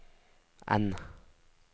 N